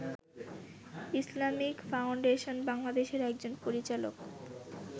Islamic Foundation বাংলাদেশের একজন পরিচালক